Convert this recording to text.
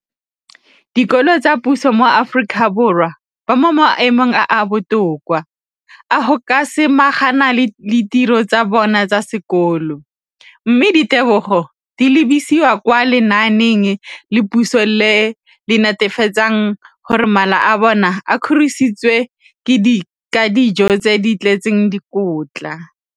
dikolo tsa puso mo Aforika Borwa ba mo maemong a a botoka a go ka samagana le ditiro tsa bona tsa sekolo, mme ditebogo di lebisiwa kwa lenaaneng la puso le le netefatsang gore mala a bona a kgorisitswe ka dijo tse di tletseng dikotla.